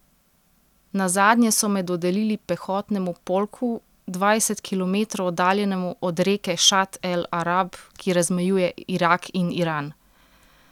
Nazadnje so me dodelili pehotnemu polku, dvajset kilometrov oddaljenemu od reke Šat el Arab, ki razmejuje Irak in Iran.